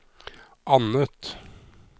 annet